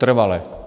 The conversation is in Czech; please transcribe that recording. Trvale.